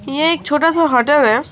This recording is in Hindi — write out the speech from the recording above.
यह एक छोटा सा होटल है।